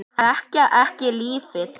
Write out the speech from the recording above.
Þekkja ekki lífið.